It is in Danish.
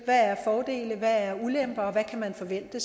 hvad er fordele hvad er ulemper og hvad kan man forvente